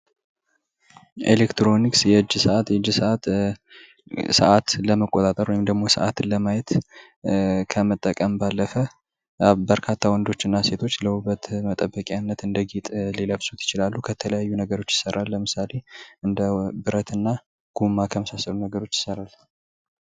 ኤሌክትሮኒክስ የእጅ ሰዓት ሳአትን ለመቆጣጠር ወይም ሰዓትን ለማየት ከምንጠቀምባቸው ነገሮች አንዱ ሲሆን በርካታ ወንዶች እና ሴቶች ለዉበት መጠበቂነት እንደ ጌጥ ሊለብሱት ይችላል ለምሳሌ ከብረትና ከጎማ ነገሮች ሊሰራ ይችላል፡፡